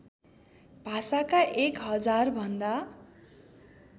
भाषाका एक हजारभन्दा